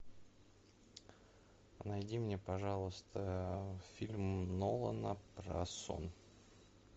найди мне пожалуйста фильм нолана про сон